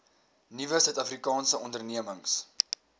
nuwe suidafrikaanse ondernemings